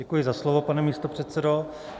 Děkuji za slovo, pane místopředsedo.